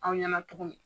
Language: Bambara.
Aw ɲɛna cogo min